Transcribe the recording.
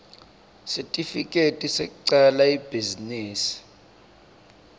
sitifiketi sekucala ibhizinisi